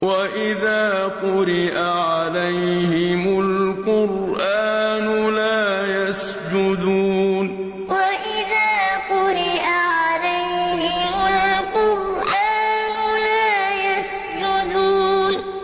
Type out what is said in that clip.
وَإِذَا قُرِئَ عَلَيْهِمُ الْقُرْآنُ لَا يَسْجُدُونَ ۩ وَإِذَا قُرِئَ عَلَيْهِمُ الْقُرْآنُ لَا يَسْجُدُونَ ۩